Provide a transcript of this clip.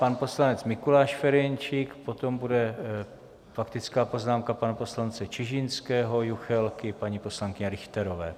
Pan poslanec Mikuláš Ferjenčík, potom bude faktická poznámka pana poslance Čižinského, Juchelky, paní poslankyně Richterové.